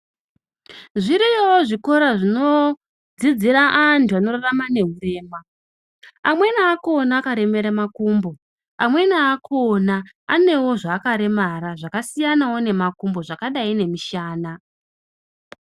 Zviriyowo zvikora zvinodzidzira antu anorarama neurema anweni akona karema ra makumbo amweni akona ane zvaakaremara zvakasiyana wo nemakumbo zvakdia.